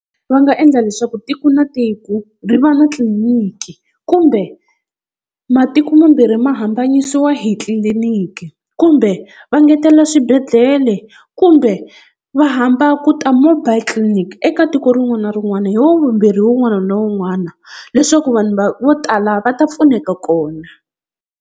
Va nga endla leswaku tiko na tiko ri va na tliliniki kumbe matiko mambirhi ma hambanyisiwa hi tliliniki, kumbe va engetelela swibedhlele ya le kumbe va hamba ku ta mobile clinic eka tiko rin'wana na rin'wana hi wavumbirhi wun'wana na wun'wana leswaku vanhu va vo tala va ta pfuneka kona.